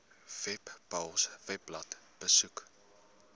webpals webblad besoek